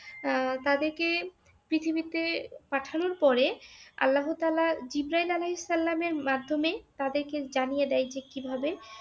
আহ তাদেরকে পৃথিবীতে পাঠানোর পরে আল্লাহতাআলা জিব্রায়িল আলাহিসাল্লামের মাধ্যমে তাদেরকে জানিয়ে দেন যে কীভাবে